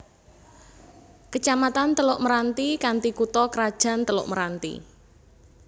Kecamatan Teluk Meranti kanthi kutha krajan Teluk Meranti